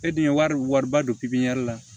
E dun ye wari wariba don la